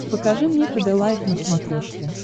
покажи мне хд лайф на смотрешке